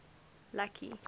lucky